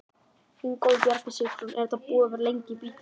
Ingólfur Bjarni Sigfússon: Er þetta búið að vera lengi í bígerð?